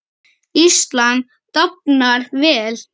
Ísland dafnar vel.